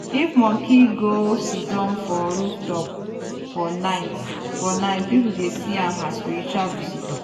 if monkey go siddon for rooftop for night for night people dey see am as spiritual visitor.